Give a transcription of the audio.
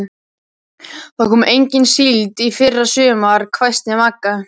Það kom engin síld í fyrra sumar, hvæsti Magga.